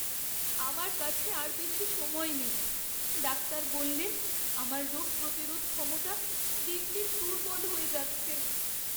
আমার কাছে আর বেশি সময় নেই। ডাক্তার বললেন আমার রোগ প্রতিরোধ ক্ষমতা দিন দিন দুর্বল হয়ে যাচ্ছে।